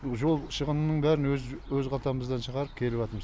жол шығынының бәрін өз өз қалтамыздан шығарып келіватырмыз